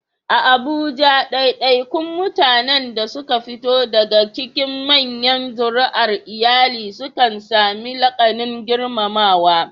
A Abuja, ɗaiɗaikun mutanen da suka fito daga cikin manyan zuri'ar iyali sukan sami laƙabin girmamawa.